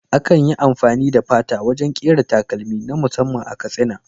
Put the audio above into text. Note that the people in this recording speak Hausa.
Akan yi amfani da fata wajen ƙera takalmi na musamman a Katsina.